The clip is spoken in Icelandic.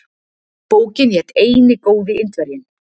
Bókin hét Eini góði Indverjinn.